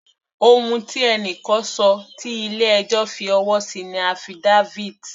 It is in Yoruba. Ohun tí ẹni kan ṣọ tí ilé ẹjọ́ fi ọwọ́ sí ni affidavit.